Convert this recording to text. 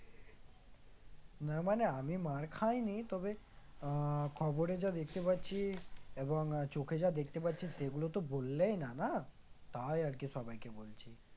না মানে আমি মার খাইনি তবে আহ খবরে যা দেখতে পাচ্ছি এবং চোখে যা দেখতে পাচ্ছি সেগুলো তো বললেই না না? তাই আরকি সবাইকে বলছি